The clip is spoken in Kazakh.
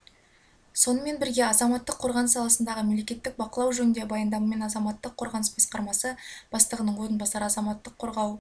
сонымен бірге азаматтық қорғаныс саласындағы мемлекеттік бақылау жөнінде баяндамамен азамттық қорғаныс басқармасы бастығының орынбасары азаматтық қорғау